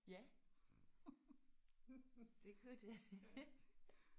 Ja! Det kunne det